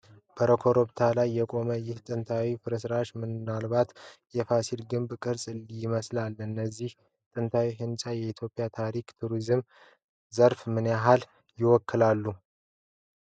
በኮረብታ ላይ የቆመው ይህ ጥንታዊ ፍርስራሽ ምናልባት የፋሲል ግቢ ቅርስ ይመስላል። እነዚህ ጥንታዊ ሕንፃዎች የኢትዮጵያን ታሪክና የቱሪዝም ዘርፍ ምን ያህል ይወክላሉ?